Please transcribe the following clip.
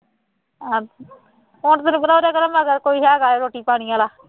ਹੁਣ ਫੇਰ ਕਿਹੜਾ ਉਹਦੇ ਘਰੇ ਮੈਂ ਕਿਹਾ ਕੋਈ ਹੈਗਾ ਹੈ ਰੋਟੀ ਪਾਣੀ ਵਾਲਾ